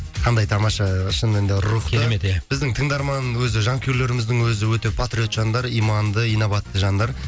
қандай тамаша шынымен де рухты керемет иә біздің тыңдарман өзі жанкүйерлеріміздің өзі өте патриот жандар иманды инабатты жандар